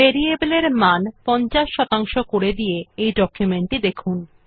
variable এ মান ৫০ শতাংশ করে দিয়ে ডকুমেন্ট টি দেখুন